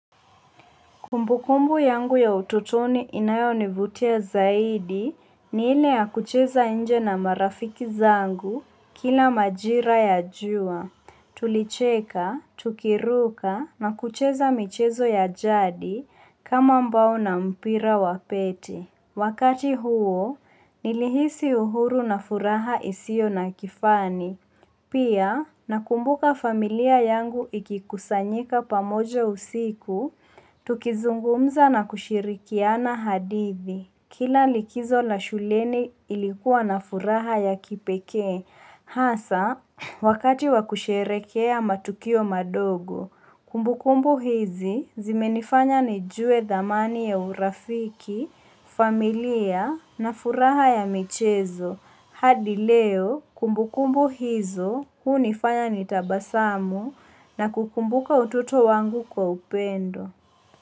Kumbukumbu yangu ya utotoni inayonivutia zaidi ni ile ya kucheza nje na marafiki zangu kila majira ya jua. Tulicheka, tukiruka na kucheza michezo ya jadi kama mbao na mpira wa pete. Wakati huo, nilihisi uhuru na furaha isio na kifani. Pia, nakumbuka familia yangu ikikusanyika pamoja usiku, tukizungumza na kushirikiana hadithi. Kila likizo la shuleni ilikuwa na furaha ya kipekee. Hasa, wakati wa kusherekea matukio madogo, kumbukumbu hizi zimenifanya nijue thamani ya urafiki, familia, na furaha ya michezo. Hadi leo kumbukumbu hizo hunifanya ni tabasamu na kukumbuka utoto wangu kwa upendo.